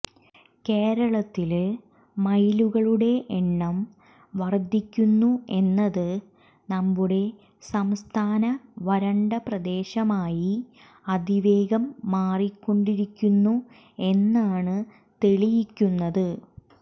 കേരളത്തില് മയിലുകളുടെ എണ്ണം വര്ധിക്കുന്നു എന്നത് നമ്മുടെ സംസ്ഥാന വരണ്ട പ്രദേശമായി അതിവേഗം മാറിക്കൊണ്ടിരിക്കുന്നു എന്നാണ് തെളിയിക്കുന്നത്